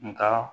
Nka